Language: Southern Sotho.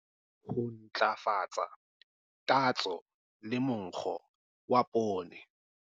Ho ntlafatsa tatso le monkgo wa poone.